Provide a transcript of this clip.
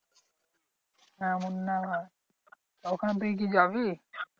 হ্যাঁ মুন্না ভাই, তা ওখানে তুই কি যাবি?